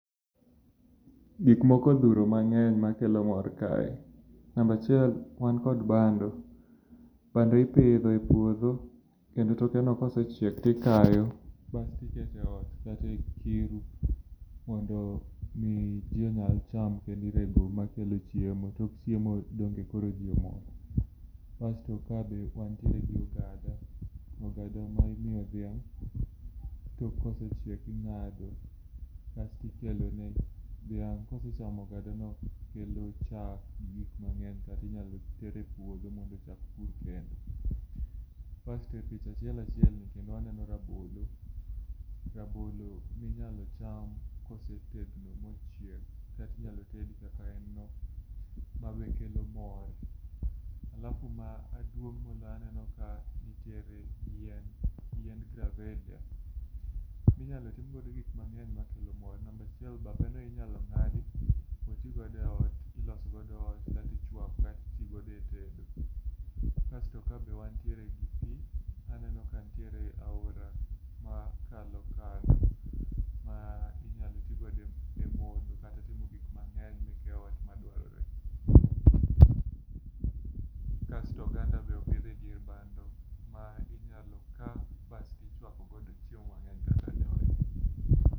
Gikmoko odhuro mang'eny makelo mor kae. Namba achiel wan kod bando, bando ipidho e puodho kendo tokeno kosechiek tikayo basto iketo e ot kata e kiru mondo omi ji onyag cham kendo irego makelo chiemo tok chiemo donge koro ji omor. Basto ka be wantiere gi ogada, ogada ma imiyo dhiang'. Tok kosechiek ting'ado kasto ikele ne dhiang' kosechamo ogadano tokelo chak gi gikmang'eny kata inyalo kete e puodho mondo ochak pur kendo. Basto e picha achiel achielni kendo waneno rabolo. Rabolo minyalo cham kosetegno mochiek kata inyalo ted kaka enno mabe kelo mor. Alafu maduong' moloyo aneno ka nitiere yien yiend gravelia minyalo timgodo gik mang'eny makelo mor. Namba achiel bapene inyalo ng'adi otigodo e ot iloso godo ot katichwako kata iti godo e tedo. Kasto ka be wantiere gi pi. Aneno ka ntiere aora ma kalo ka ma inyalo tigodo e modho kata timo gik mang'eny meke ot madwarore. Kasto oganda be opidh e dier bando ma inyalo ka basto ichwakogodo chiemo mang'eny kaka nyoyo.